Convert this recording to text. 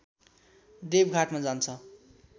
देबघाटमा जान्छ